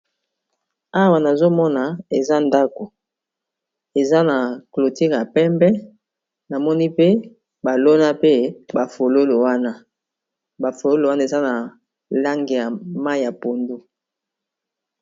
awa nazomona eza ndako eza na clotire ya pembe namoni pe balona pe bafololo wana bafololo wana eza na lange ya ma ya pondo